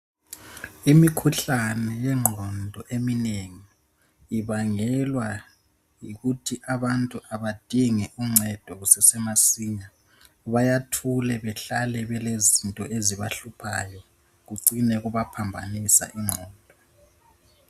Imikhuhlane yengqondo eminengi ibangelwa yikuthi abantu kabadingi uncedo kusase masinya. Bayathula, bahlale, kulezinto ezibahluphayo. Kucine kubaphambanisa ingqondo.